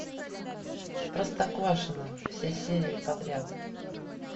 простоквашино все серии подряд